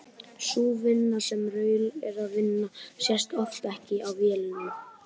Sú vinna sem Raul er að vinna sést oft ekki á vellinum.